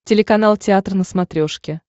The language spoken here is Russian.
телеканал театр на смотрешке